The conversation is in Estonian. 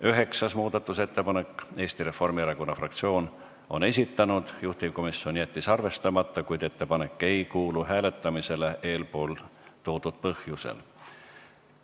Üheksas muudatusettepanek, Eesti Reformierakonna fraktsioon on selle esitanud, juhtivkomisjon jättis arvestamata, kuid ettepanek ei kuulu hääletamisele eelpool toodud põhjusel.